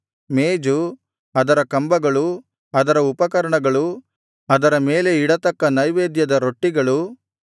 ಮೇಜು ಅದರ ಕಂಬಗಳು ಅದರ ಉಪಕರಣಗಳು ಅದರ ಮೇಲೆ ಇಡತಕ್ಕ ನೈವೇದ್ಯದ ರೊಟ್ಟಿಗಳು